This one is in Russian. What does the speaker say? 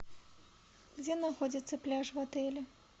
где находится пляж в отеле